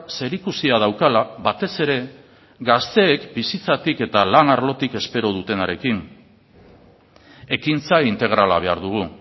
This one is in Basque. zerikusia daukala batez ere gazteek bizitzatik eta lan arlotik espero dutenarekin ekintza integrala behar dugu